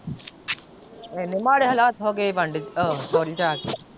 ਇੰਨੇ ਮਾੜੇ ਹਾਲਾਤ ਹੋ ਗਏ ਬਾਂਡੇ ਓ ਸਹੁਰੇ ਜਾ ਕੇ।